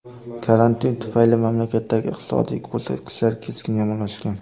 Karantin tufayli mamlakatdagi iqtisodiy ko‘rsatkichlar keskin yomonlashgan.